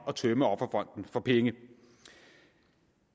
at tømme offerfonden for penge